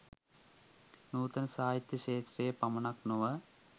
නුතන සාහිත්‍ය ක්ෂත්‍රයේ පමණක් නොව